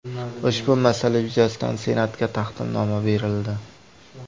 Ushbu masala yuzasidan Senatga taqdimnoma berildi.